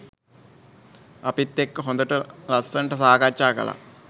අපිත් එක්ක හොඳට ලස්සනට සාකච්ඡා කළා.